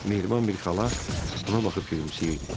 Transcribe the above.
Mehriban bir xala ona baxıb gülümsəyirdi.